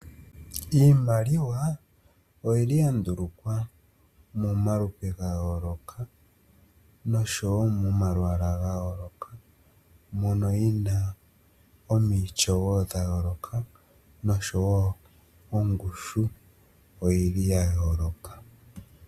Iimaliwa oya ndulukwa momalupe ga yooloka noshowo momalwaala ga yooloka. Moka yi na omaityo ga yooloka nosho wo ongushu oya yooloka.